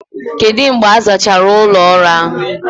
Kedu mgbe a zachara ụlọ ọrụ ahụ?